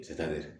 Se tare